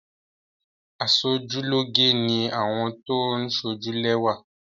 Aṣojúlóge ni àwọn tó ń sójú lẹ́wà.